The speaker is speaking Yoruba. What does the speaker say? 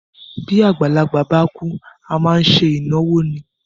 Bí àgbàlagbà bá kúú, A máá n se ìnáwó ni.